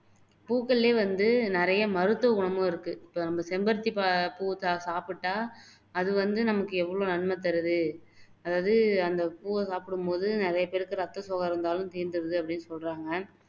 பூக்கள்லயே வந்து நிறைய மருத்துவ குணமும் இருக்கு இப்போ நம்ம செம்பருத்தி பா பூவை சாப் சாப்புட்டா அது வந்து நமக்கு எவ்ளோ நன்மை தருது அதாவது அந்த பூவை சாப்பிடும் போது நிறைய பேருக்கு ரத்த சோகை இருந்தாலும் தீந்துருது அப்படின்னு சொல்றாங்க